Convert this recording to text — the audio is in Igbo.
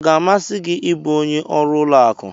Ọ ga-amasị gị ịbụ onye ọrụ ụlọ akụ?